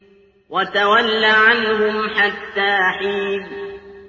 وَتَوَلَّ عَنْهُمْ حَتَّىٰ حِينٍ